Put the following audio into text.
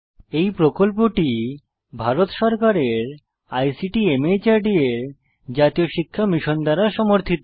এই প্রকল্পটি ভারত সরকারের আইসিটি মাহর্দ এর জাতীয় শিক্ষা মিশন দ্বারা সমর্থিত